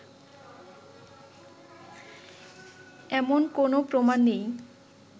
এমন কোনও প্রমাণ নেই